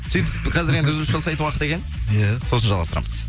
сөйтіп қазір енді үзіліс жасайтын уақыт екен иә сосын жалғастырамыз